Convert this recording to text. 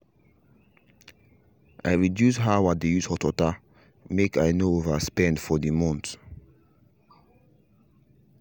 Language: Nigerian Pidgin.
i reduce how i dey use hot water make i no over spend for the month